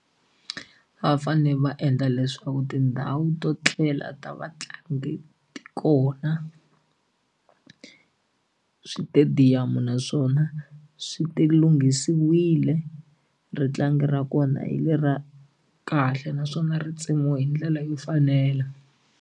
Va fanele va endla leswaku tindhawu to tlela ta vatlangi kona switediyamu naswona swi ti lunghisiwile ritlangi ra kona hi le ra kahle naswona ri tsemiwa hi ndlela yo fanela.